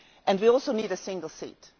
We also need a single seat.